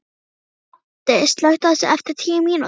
Baddi, slökktu á þessu eftir tíu mínútur.